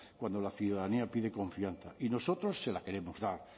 cuando la ciudadanía pide confianza y nosotros se la queremos dar